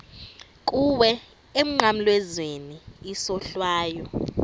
kuwe emnqamlezweni isohlwayo